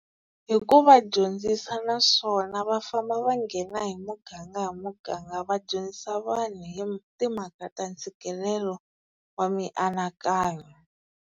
Hi ku va dyondzisa naswona va famba va nghena hi muganga hi muganga va dyondzisa vanhu hi timhaka ta ntshikelelo wa mianakanyo.